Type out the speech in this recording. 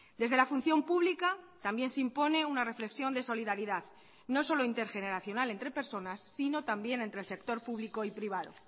desde la función pública también se impone una reflexión de solidaridad no solo intergeneracional entre personas sino también entre el sector público y privado